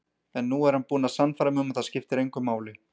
En nú er hann búinn að sannfæra mig um að það skiptir engu máli.